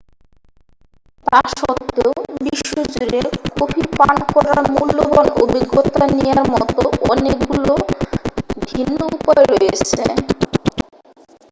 তা সত্ত্বেও বিশ্বজুড়ে কফি পান করার মূল্যবান অভিজ্ঞতা নেয়ার মতো অনেকগুলি ভিন্ন উপায় রয়েছে